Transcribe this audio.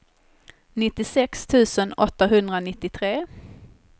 nittiosex tusen åttahundranittiotre